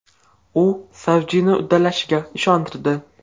U Savjini uddalashiga ishontirdi.